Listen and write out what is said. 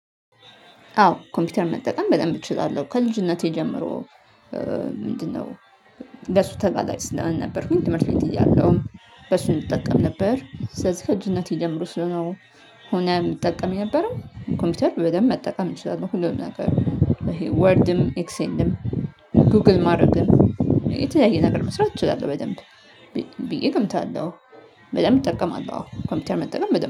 አዎ ኮምፒውተር መጠቀም በደንብ እችላለሁ ከልጅነቴ ጀምሮ ምንድነው ለሱ ተጋላጭ ስላልነበርኩኝ ትምህርት ቤት እያለሁም በሱ እንጠቀም ነበር። ስለዚህ ከልጅነቴ ጀምሮ ስለሆነ የምጠቀም የነበረው ኮምፒውተር በደንብ መጠቀም እንችላለሁ ሁሉም ነገር። ወርድም፣ ኤክሴንድም፣ ጉግል ማድረግም፣ የተለያየ ነገር መስራት እችላለሁ በደንብ ብዬ እገምታለሁ፤ በደንብ ይጠቀማለሁ ኮምፒውተር መጠቀም